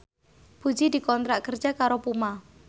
Puji dikontrak kerja karo Puma